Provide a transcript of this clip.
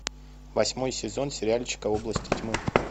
восьмой сезон сериальчика области тьмы